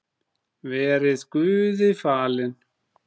Verið Guði falin.